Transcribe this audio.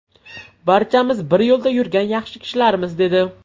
Barchamiz bir yo‘lda yurgan yaxshi kishilarmiz”, dedi.